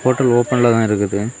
Hotel ஓபன்ல தான் இருக்குது.